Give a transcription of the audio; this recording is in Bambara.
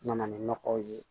N nana ni nɔgɔw ye